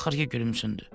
Axır ki gülümsündü.